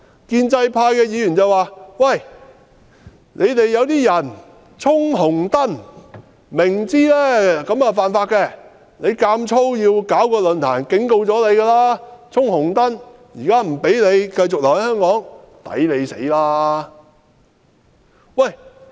建制派議員說，馬凱明知犯法，卻要強行舉辦論壇，這是"衝紅燈"，現在自然不能讓他繼續留在香港。